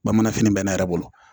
Bamanan fini bɛ n'a yɛrɛ bolo